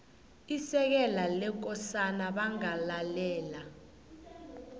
isekela lekosana bangalalela